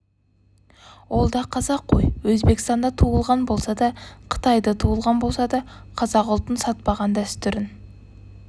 ол да қазақ қой өзбекстанда туылған болса да қытайда туылған болса да қазақ ұлтын сатпаған дәстүрін